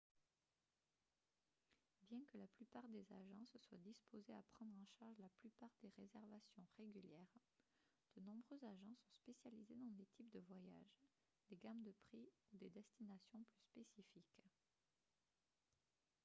bien que la plupart des agences soient disposées à prendre en charge la plupart des réservations régulières de nombreux agents sont spécialisés dans des types de voyages des gammes de prix ou des destinations plus spécifiques